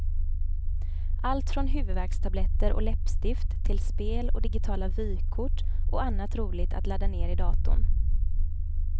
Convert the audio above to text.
Allt från huvudvärkstabletter och läppstift till spel och digitala vykort och annat roligt att ladda ner i datorn.